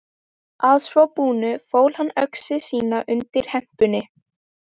Að svo búnu fól hann öxi sína undir hempunni.